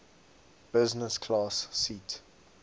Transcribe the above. business class seat